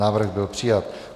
Návrh byl přijat.